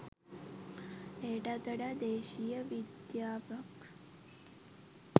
එයටත් වඩා දේශීය විද්‍යාවක්